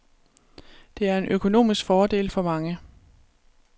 Det er en økonomisk fordel for mange.